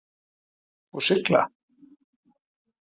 Og sigla?